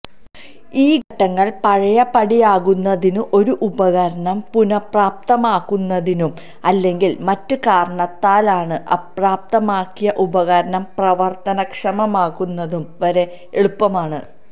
ഈ ഘട്ടങ്ങൾ പഴയപടിയാക്കുന്നതിനും ഒരു ഉപകരണം പുനഃപ്രാപ്തമാക്കുന്നതിനും അല്ലെങ്കിൽ മറ്റ് കാരണത്താലാണ് അപ്രാപ്തമാക്കിയ ഉപകരണം പ്രവർത്തനക്ഷമമാക്കുന്നതും വളരെ എളുപ്പമാണ്